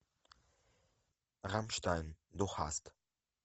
рамштайн ду хаст